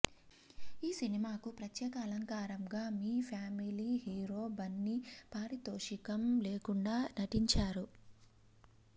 ఈ సినిమాకు ప్రత్యేక అలంకారంగా మీ ఫ్యామిలీ హీరో బన్నీ పారితోషికం లేకుండా నటించాడు